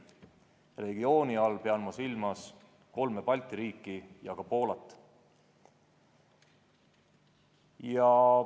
Regiooni all pean ma silmas kolme Balti riiki ja Poolat.